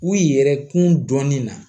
U yɛrɛkun dɔnnin na